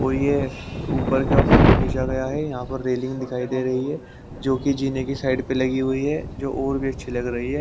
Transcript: और ये ऊपर का फोटो खींचा गया है यहां पर रेलिंग दिखाई दे रही है जो कि जीने की साइड प लगी हुई है जो और भी अच्छी लग रही है।